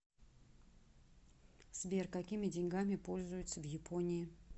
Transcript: сбер какими деньгами пользуются в японии